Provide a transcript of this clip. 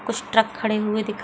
कुछ ट्रक खड़े हुए दिख --